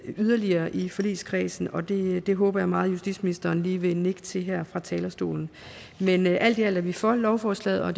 yderligere i forligskredsen og det det håber jeg meget justitsministeren lige vil nikke til her fra talerstolen men alt i alt er vi for lovforslaget og